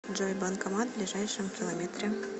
джой банкомат в ближайшем километре